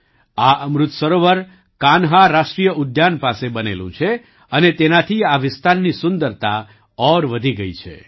આ અમૃત સરોવર કાન્હા રાષ્ટ્રીય ઉદ્યાન પાસે બનેલું છે અને તેનાથી આ વિસ્તારની સુંદરતા ઓર વધી ગઈ છે